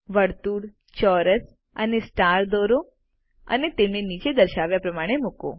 વર્તુળચોરસ અને સ્ટાર દોરો અને તેમને નીચે દર્શાવ્યા પ્રમાણે મુકો